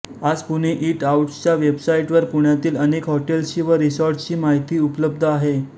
आज पुणे ईट आऊट्सच्या वेबसाईटवर पुण्यातील अनेक हॉटेल्सची व रिसॉर्ट्सची माहिती उपलब्ध आहे